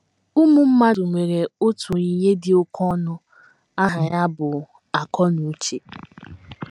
Ụmụ mmadụ nwere otu onyinye dị oké ọnụ ahịa ya bụ, akọnuche.